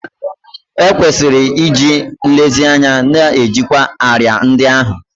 E kwesịrị iji nlezianya na-ejikwa árịà ndị ahụ